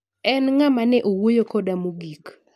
En ng'ama ne owuoyo koda mogik.